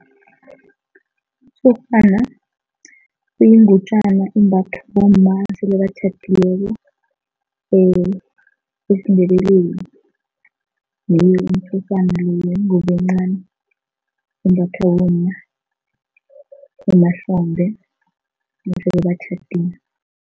Umtsurhwana uyingutjana, imbathwa bomma esele abatjhadileko esiNdebeleni ngiwo umtshurhwana loyo. Yingubo encani, embathwa bomma emahlombe nasele batjhadile.